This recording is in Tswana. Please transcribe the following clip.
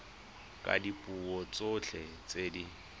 ka dipuo tsotlhe tse di